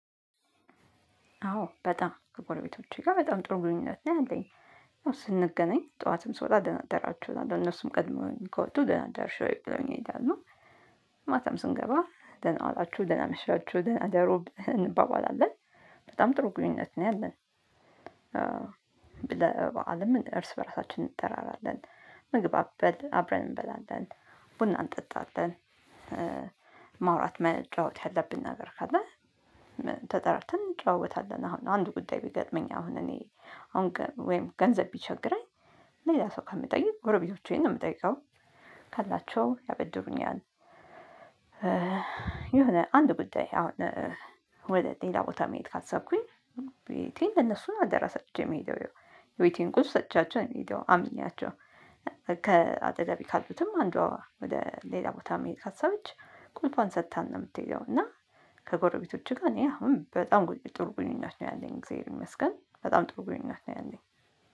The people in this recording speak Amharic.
አዎ በጣም ከጎረቤቶቼ ጋር በጣም ጥሩ ግንኙነት ላይ አለኝ። ስንገናኝ ጠዋትም ስወጣ ደናደራችሁ እነሱም ቀድመው ከወጡ ደና አደርሽ ብለዉኝ ይሄዳለሁ። ማታም ስንገባ ደና ዋላችሁ ደህና አመሻችሁ ደህና እደሩ እንባባላለን። በጣም ጥሩ ግንኙነት ነው ያለን። ለ በዓልም እርስ በራሳችን እንጠራራለን። ምግብ አበል አብረን እንበላለን። ቡና እንጠጣለን። ማውራት መጫወት ያለብን ነገር ካለ። ተጠራተን እንጨዋወታለን። አሁን አንድ ጉዳይ ቢገጥመኝ አሁን እኔ አሁን ወይም ገንዘብ ቢቸግረኝ ሌላ ሰው ከምጠይቅ ጎረቤቶቼን ነው የምጠይቀው። ካላቸው ያበድሩኛል። የሆነ አንድ ጉዳይ አሁን ወደ ሌላ ቦታ መሄድ ካሰብኩኝ ቤቴን ለነሱ አደራ ሰጥቼ የምሄደው። የቤቴን ቁልፍ ሰጥቻቸው ነው የምሄደው አምኛቸው። ከአጠገቤ ካሉትም አንዷ ወደ ሌላ ቦታ መሄድ ካሰበች ቁልፏን ሰጥታን ነው የምትሄደው እና። ከጎረቤቶችህ ጋር እኔ አሁን በጣም ጥሩ ግንኙነት ነው ያለኝ እግዚአብሔር ይመስገን በጣም ጥሩ ግንኙነት ነው ያለኝ